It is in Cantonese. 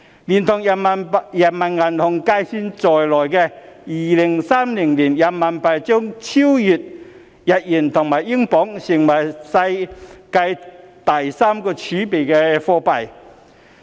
連同人行計算在內，人民幣將於2030年超越日元及英鎊，成為世界第三大儲備貨幣。